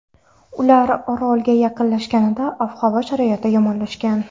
Ular orolga yaqinlashganida ob-havo sharoiti yomonlashgan.